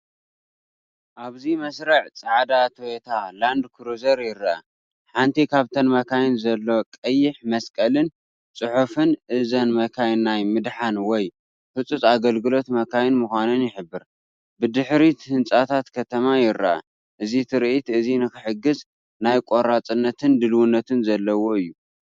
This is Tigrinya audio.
ኣብዚ መስርዕ ጻዕዳ ቶዮታ ላንድ ክሩዘር ይርአ። ሓንቲ ካብተን መካይን ዘሎ ቀይሕ መስቀልን ጽሑፍን እዘን መካይን ናይ ምድሓን ወይ ህጹጽ ኣገልግሎት መካይን ምዃነን ይሕብር። ብድሕሪት ህንጻታት ከተማ ይርአ። እዚ ትርኢት እዚ ንኽሕግዝ ናይ ቆራጽነትን ድልውነትን ዘለዎ እዩ።